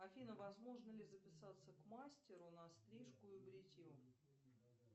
афина возможно ли записаться к мастеру на стрижку и бритье